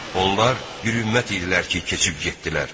Onlar bir ümmət idilər ki, keçib getdilər.